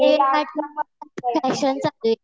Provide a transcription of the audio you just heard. नेल आर्टच तर फॅशन चालू आहे.